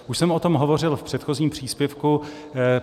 Už jsem o tom hovořil v předchozím příspěvku.